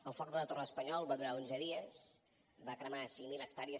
el foc de la torre de l’espanyol va durar onze dies va cremar cinc mil hectàrees